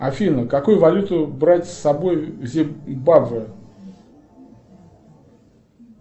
афина какую валюту брать с собой в зимбабве